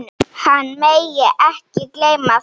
Hann megi ekki gleyma því.